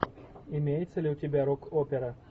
имеется ли у тебя рок опера